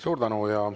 Suur tänu!